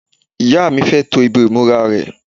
ìyá mi fẹ́ to ibi ìmúra rẹ̀